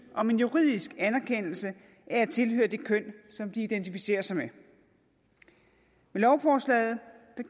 om en juridisk anerkendelse af at de tilhører det køn som de identificerer sig med med lovforslaget